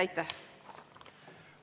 Aitäh!